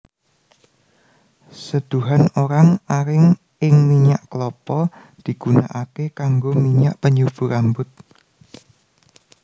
Seduhan orang aring ing minyak kelapa digunakaké kanggo minyak penyubur rambut